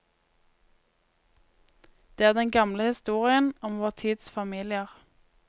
Det er den gamle historien om vår tids familier.